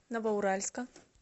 новоуральска